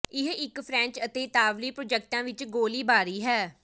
ਇਹ ਕਈ ਫਰੈਂਚ ਅਤੇ ਇਤਾਲਵੀ ਪ੍ਰਾਜੈਕਟਾਂ ਵਿੱਚ ਗੋਲੀਬਾਰੀ ਹੈ